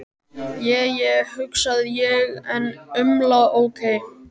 Je je, hugsa ég en umla ókei.